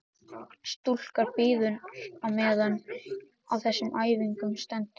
Stúlkan bíður á meðan á þessum æfingum stendur.